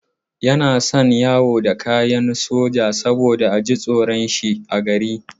Yana son yawo da kayan soja saboda a ji tsoron shi a gari.